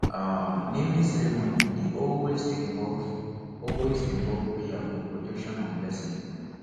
um naming ceremony dey always involve always involve prayer for protection and blessing